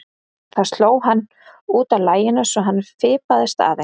Það sló hann út af laginu svo að honum fipaðist aðeins.